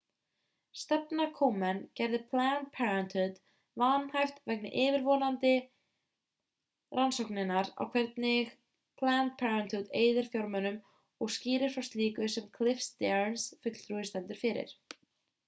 stefna komen gerði planned parenthood vanhæft vegna yfirvofandi rannsóknar á því hvernig planned parenthood eyðir fjármunum og skýrir frá slíku sem cliff stearns fulltrúi stendur fyrir